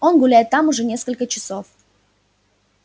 он гуляет там уже несколько часов